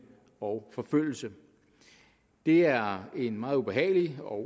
og forfølgelse det er en meget ubehagelig og